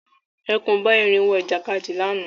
Ẹkùn bá erin wọ ìjàkadì lànà